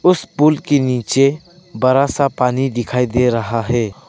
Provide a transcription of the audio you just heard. उसे पुल के नीचे बड़ा सा पानी दिखाई दे रहा है।